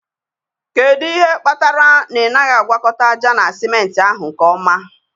Kedu ihe kpatara na ị naghị agwakọta ájá na simenti ahụ nke ọma?